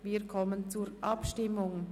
Wir kommen zur Abstimmung.